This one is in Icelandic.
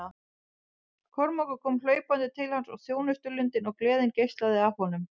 Kormákur kom hlaupandi til hans og þjónustulundin og gleðin geislaði af honum.